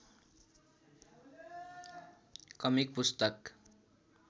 comic पुस्तक